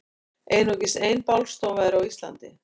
Einungis ein bálstofa er á Íslandi.